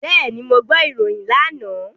Bẹ́ẹ̀ni, mo gbọ́ ìròyìn lánàá.